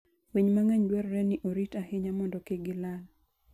Winy mang'eny dwarore ni orit ahinya mondo kik gilal.